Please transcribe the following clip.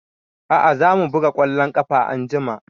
A'a za mu buga ƙwallon ƙafa anjima